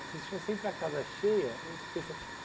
Vocês tinham sempre a casa cheia. Fez